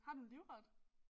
Har du en livret?